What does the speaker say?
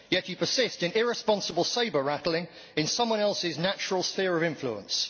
Yet you persist in irresponsible sabre rattling in someone else's natural sphere of influence.